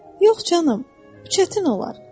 Yox canım, bu çətin olar.